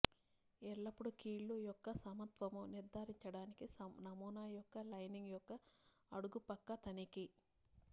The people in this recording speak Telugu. ఎల్లప్పుడూ కీళ్ళు యొక్క సమత్వము నిర్ధారించడానికి నమూనా యొక్క లైనింగ్ యొక్క అడుగు పక్క తనిఖీ